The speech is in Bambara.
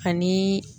Ani